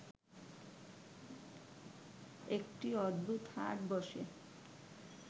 একটি অদ্ভুত হাট বসে